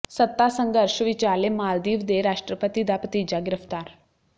ਸੱਤਾ ਸੰਘਰਸ਼ ਵਿਚਾਲੇ ਮਾਲਦੀਵ ਦੇ ਰਾਸ਼ਟਰਪਤੀ ਦਾ ਭਤੀਜਾ ਗ੍ਰਿਫਤਾਰ